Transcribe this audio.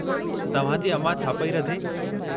तव्हां जी अमां छा पई रधे?